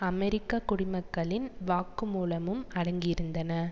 அமெரிக்க குடிமக்களின் வாக்கு மூலமும் அடங்கியிருந்தன